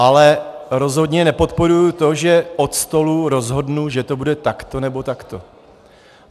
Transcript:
Ale rozhodně nepodporuji to, že od stolu rozhodnu, že to bude takto, nebo takto.